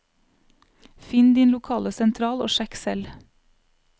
Finn din lokale sentral og sjekk selv.